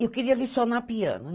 E eu queria licionar piano.